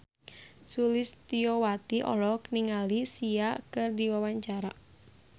Sulistyowati olohok ningali Sia keur diwawancara